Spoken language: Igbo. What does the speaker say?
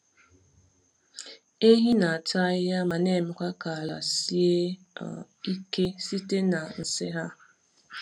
Ehi na-ata ahịhịa ma na-emekwa ka ala sie ike site n’nsị ha.